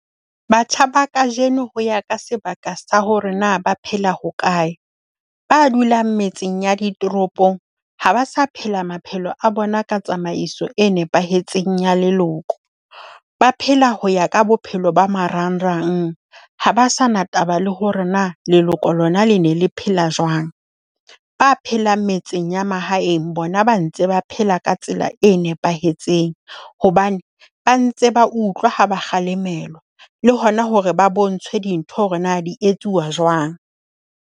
Batjha ba kajeno ho ya ka sebaka sa hore na ba phela hokae. Ba dulang metseng ya ditoropong ha ba sa phela maphelo a bona ka tsamaiso e nepahetseng ya leloko. Ba phela ho ya ka bophelo ba marangrang, ha ba sa na taba le hore na leloko lona le ne le phela jwang. Ba phelang metseng ya mahaeng bona ba ntse ba phela ka tsela e nepahetseng hobane ba ntse ba utlwa ha ba kgalemelwa le hona hore ba bontshwe dintho hore na di etsuwa jwang.